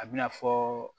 A bɛna fɔ